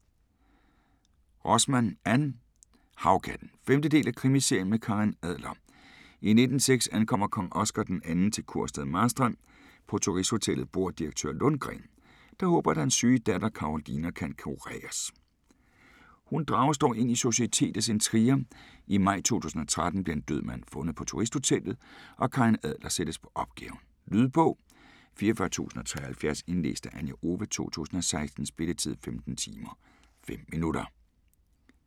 Rosman, Ann: Havkatten 5. del af Krimiserien med Karin Adler. I 1906 ankommer kong Oscar d. 2 til kurstedet Marstrand. På Turisthotellet bor direktør Lundgren, der håber at hans syge datter Karolina kan kureres. Hun drages dog ind i societetets intriger. I maj 2013 bliver en død mand fundet på Turisthotellet, og Karin Adler sættes på opgaven. Lydbog 44073 Indlæst af Anja Owe, 2016. Spilletid: 15 timer, 5 minutter.